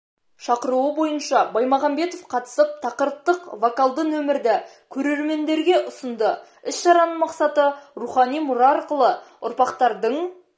шақыруы бойынша баймағанбетов қатысып тақырыптық вокалды нөмірді көрермендерге ұсынды іс-шараның мақсаты рухани мұра арқылы ұрпақтардың